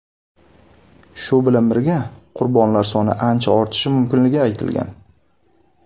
Shu bilan birga, qurbonlar soni ancha ortishi mumkinligi aytilgan.